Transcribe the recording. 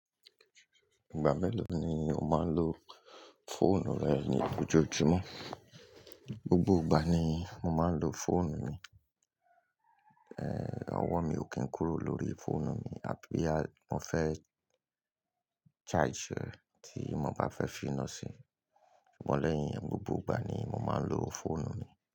Ìgbà mélòó ni o máa ń lo fóònù rẹ ní ojoojúmọ́? Gbogbo ìgbà ni mo máa ń lo fóònù mi. Ehn, ọwọ́ mi ò kín kúrò lórí fóònù mi, àbí ẹ já mo fẹ́ charge rẹ̀ tí mo bá fẹ́ fíná sí i. Sugbọn lẹ̀yìn, gbogbo ìgbà ni mo máa ń lo fóònù mi.